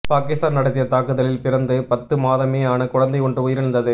பாகிஸ்தான் நடத்திய தாக்குதலில் பிறந்து பத்து மாதமே ஆன குழந்தை ஒன்று உயிரிழந்தது